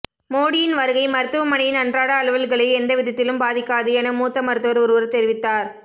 மோடியின் வருகை மருத்துவமனையின் அன்றாட அலுவல்களை எந்தவிதத்திலும் பாதிக்காது என மூத்த மருத்துவர் ஒருவர் தெரிவித்தார்